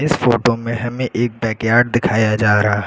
इस फोटो में हमें एक बैकयार्ड दिखाया जा रहा है।